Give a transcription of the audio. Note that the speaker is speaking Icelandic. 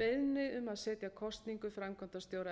beiðni um setja kosningu framkvæmdastjóra